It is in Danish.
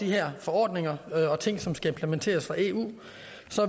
de her forordninger og ting som skal implementeres fra eu